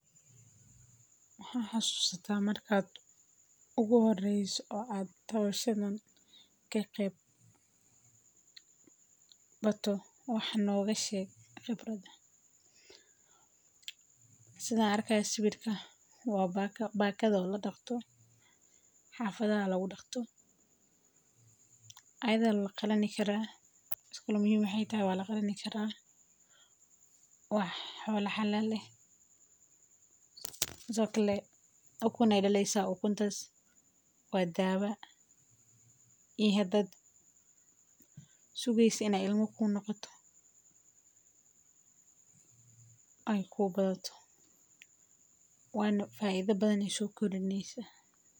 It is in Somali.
maxaa hassusata markaad ugo horayso ad tawayshadan kakeebkato wax nooga sheeg qibrad. Sida arkaya sawirka waa baaka. Baakada la dhagto xaafada lagu dhagto aad la kalani kara iskulu. Muuxi taas waa la kali karaa. Wuxuu la xalaal leh sakaleh. Akuun aye daleysay akuuntas waad daawa iyo haddaad suugaysan inay ilmo ku noqoto. Ay ku qaadato waan faaid badanayso kurneysa.